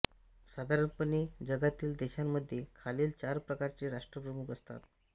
साधारणपणे जगातील देशांमध्ये खालील चार प्रकारचे राष्ट्रप्रमुख असतात